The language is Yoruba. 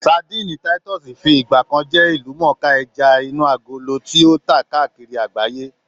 Sadíìnì táítọ́ọ̀sì ti fi ìgbà kan jẹ́ ìlúmọ̀ọ́ká ẹja inú agolo tí ó tà káàkiri àgbáyé